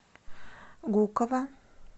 гуково